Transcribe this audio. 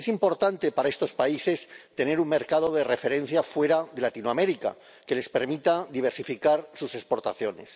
Es importante para estos países tener un mercado de referencia fuera de Latinoamérica que les permita diversificar sus exportaciones.